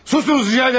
Susunuz rica edirem.